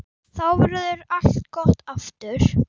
Þá verður allt gott aftur.